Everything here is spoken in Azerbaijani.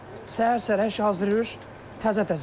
Səhər-səhər hər şey hazır eləyir, təzə-təzə.